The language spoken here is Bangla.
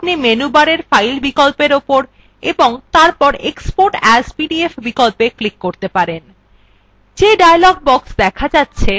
অথবা আপনি menu bar file বিকল্পর উপর এবং তারপর export as pdf বিকল্পত়ে ক্লিক করতে পারেন